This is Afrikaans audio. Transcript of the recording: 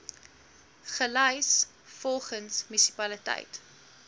gelys volgens munisipaliteit